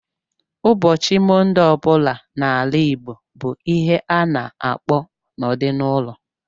Ụbọchị Mọnde ọ bụla n'ala Igbo bụ ihe ha na-akpọ nọdụ n'ụlọ